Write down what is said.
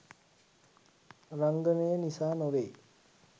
රංගනය නිසා නොවෙයි.